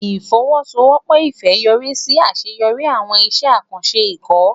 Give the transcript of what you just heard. Ìfọwọ́sowọ́pọ̀ Ifẹ̀ yọrí sí àṣeyọrí àwọn iṣẹ́ àkànṣe ikọ̀.